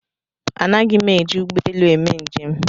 Anaghi m eji ụgbọelu eme njem